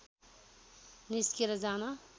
निस्केर जान